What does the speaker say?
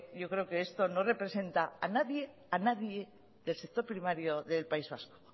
yo creo que esto no representa a nadie a nadie del sector primario del país vasco